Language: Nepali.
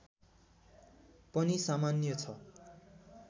पनि सामान्य छ